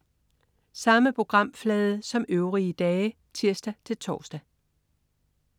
Samme programflade som øvrige dage (tirs-tors)